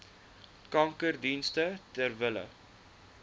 kankerdienste ter wille